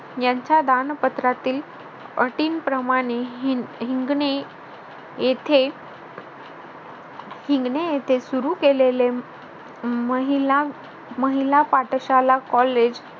यांच्या दान पत्रातील अटींप्रमाणे हिंगणे येथे हिंगणे येथे सुरू केले महिला महिला पाठशाला college